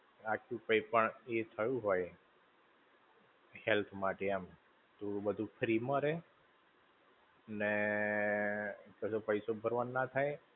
આખું કઈ પણ એ થયું હોય, health માટે એમ, તો બધું free માં રહે, ને કશો પૈસો ભરવાનો ના થાય.